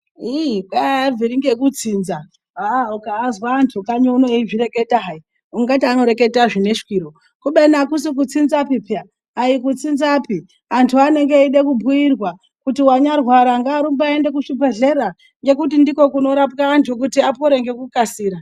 Iii kwai aabviri ngekutsinza aa ukaazwa antu kanyi uno eizvireketa hai ungati anorekete zvine shwiro kubeni akusi kutsinzapi pee aikutsinzapi antu anenge eide kubhiirwa kuti wanyarwara ngaarumbe eiende kuzvibhedhlera ngekuti ndikwo kunorapwe antu anorwara kuti apore ngekukasira.